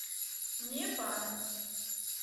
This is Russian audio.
не пара